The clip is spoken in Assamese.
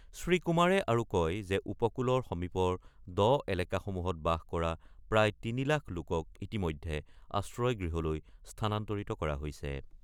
শ্ৰীকুমাৰে আৰু কয় যে উপকূলৰ সমীপৰ দ এলেকাসমূহত বাস কৰা প্ৰায় ৩ লাখ লোকক ইতিমধ্যে আশ্ৰয় গৃহলৈ স্থানান্তৰিত কৰা হৈছে।